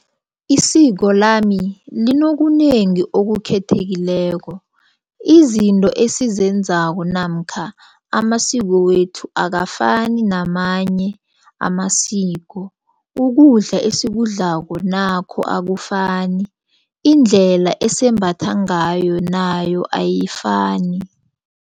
Iisiko lami linokunengi okukhethekileko izinto esizenzako namkha amasiko wethu akafani namanye amasiko. Ukudla esikudlako nakho akufani indlela esembathwa ngayo nayo ayifani.